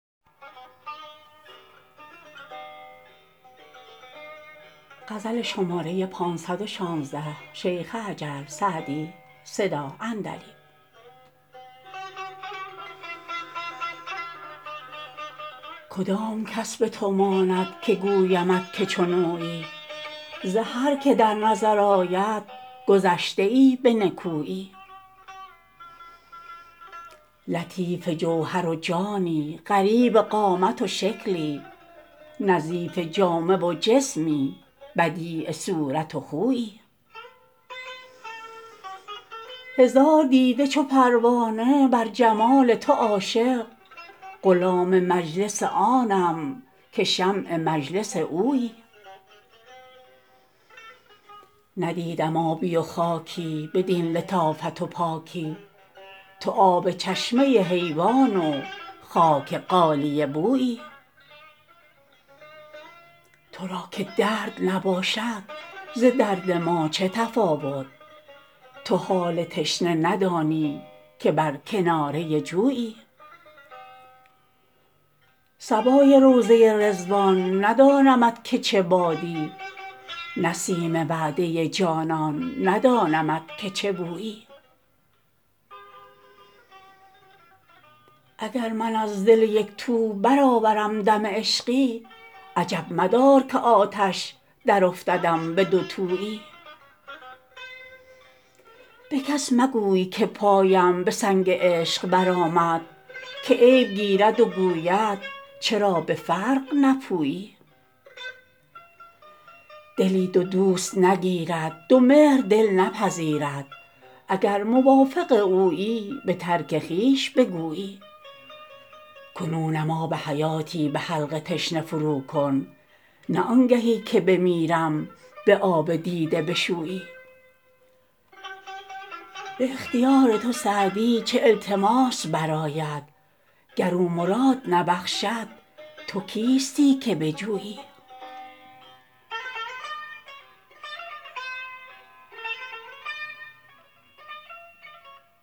کدام کس به تو ماند که گویمت که چون اویی ز هر که در نظر آید گذشته ای به نکویی لطیف جوهر و جانی غریب قامت و شکلی نظیف جامه و جسمی بدیع صورت و خویی هزار دیده چو پروانه بر جمال تو عاشق غلام مجلس آنم که شمع مجلس اویی ندیدم آبی و خاکی بدین لطافت و پاکی تو آب چشمه حیوان و خاک غالیه بویی تو را که درد نباشد ز درد ما چه تفاوت تو حال تشنه ندانی که بر کناره جویی صبای روضه رضوان ندانمت که چه بادی نسیم وعده جانان ندانمت که چه بویی اگر من از دل یک تو برآورم دم عشقی عجب مدار که آتش درافتدم به دوتویی به کس مگوی که پایم به سنگ عشق برآمد که عیب گیرد و گوید چرا به فرق نپویی دلی دو دوست نگیرد دو مهر دل نپذیرد اگر موافق اویی به ترک خویش بگویی کنونم آب حیاتی به حلق تشنه فروکن نه آنگهی که بمیرم به آب دیده بشویی به اختیار تو سعدی چه التماس برآید گر او مراد نبخشد تو کیستی که بجویی